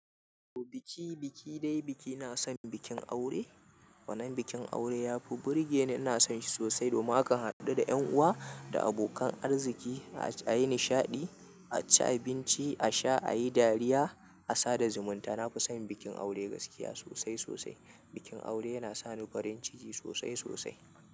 Biki, biki dai biki, na son bikin aure. Wannan bikin aure yafi burge ni, ina so shi sosai domin akan hadu da ƴan uwa da abokan arziki, a yi nishaɗi, a ci abinci, a sha, a yi dariya, a sada zumunta. Na fi son bikin aure gaskiya sosai sosai. Bikin aure yana sani farin ciki sosai sosai.